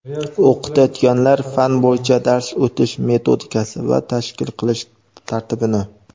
o‘qitayotgan fan bo‘yicha dars o‘tish metodikasi va tashkil qilish tartibini.